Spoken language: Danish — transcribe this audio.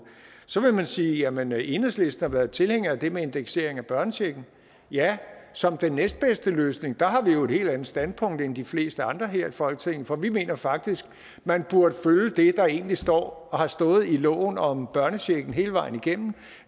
så vil man sige jamen enhedslisten har været tilhænger af det med indeksering af børnechecken ja som den næstbedste løsning der har vi jo et helt andet standpunkt end de fleste andre her i folketinget for vi mener faktisk at man burde følge det der egentlig står og har stået i loven om børnechecken hele vejen igennem